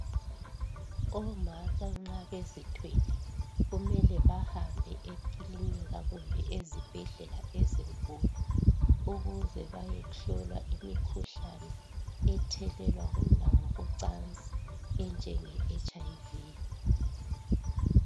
Omama nxa bezithwele kumele bahambe ekilinika kumbe ezibhedlela ezinkulu ukuze bayehlolwa imikhuhlane ethelelwana ngokocansi enjenge HIV.